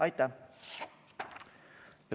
Aitäh!